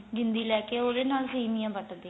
ਜਿੰਦੀ ਲੈ ਕੇ ਉਹਦੇ ਨਾਲ ਸੇਮੀਆਂ ਵੱਟਦੀਆਂ